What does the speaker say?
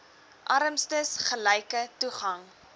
armstes gelyke toegang